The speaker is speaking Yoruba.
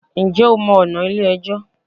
Njẹ́ o mọ ọ̀nà Ilé ẹjọ́?